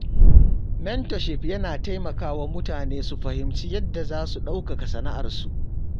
Mentorship yana taimakawa mutane su fahimci yadda za su ɗaukaka sana’arsu.